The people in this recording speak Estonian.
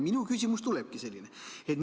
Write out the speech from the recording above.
Minu küsimus tuleb selline.